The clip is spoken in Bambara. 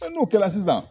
n'o kɛla sisan